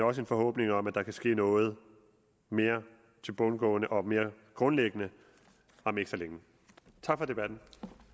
også en forhåbning om at der kan ske noget mere tilbundsgående og mere grundlæggende om ikke så længe tak for debatten